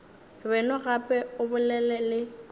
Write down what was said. beno gape o bolele le